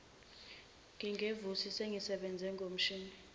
nginguvusi sengisebenze ngomshini